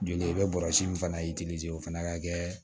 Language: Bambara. Joli i bɛ bɔrɔsi min fana o fana ka kɛ